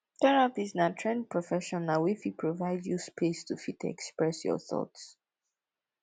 therapist na trained professional wey fit provide you space to fit express your thought